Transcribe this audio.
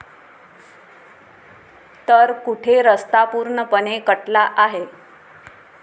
तर कुठे रस्ता पूर्णपणे कटला आहे.